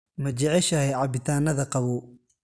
Ma jeceshahay cabitaannada qabow?